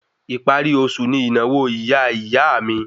Ìparí oṣù ní ìnáwó ìyá ìyá a mi